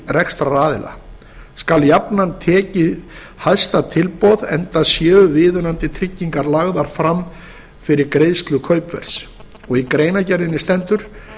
rekstraraðila skal jafnan tekið hæsta tilboði enda séu viðunandi tryggingar lagðar fram fyrir greiðslu kaupverðs í greinargerðinni stendur